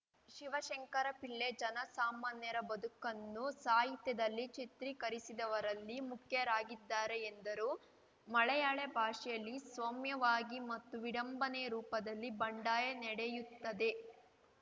ಶಿವಶಂಕರ ಪಿಳ್ಳೆ ಜನಸಾಮಾನ್ಯರ ಬದುಕನ್ನು ಸಾಹಿತ್ಯದಲ್ಲಿ ಚಿತ್ರೀಕರಿಸಿದವರಲ್ಲಿ ಮುಖ್ಯರಾಗಿದ್ದಾರೆ ಎಂದರು ಮಲಯಾಳಿ ಭಾಷೆಯಲ್ಲಿ ಸೌಮ್ಯವಾಗಿ ಮತ್ತು ವಿಡಂಬನೆಯ ರೂಪದಲ್ಲಿ ಬಂಡಾಯ ನಡೆಯುತ್ತದೆ